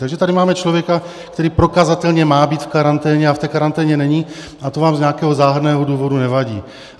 Takže tady máme člověka, který prokazatelně má být v karanténě a v té karanténě není, a to vám z nějakého záhadného důvodu nevadí.